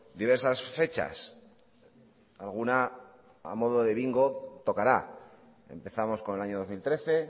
diversas fechas alguna a modo de bingo tocará empezamos con el año dos mil trece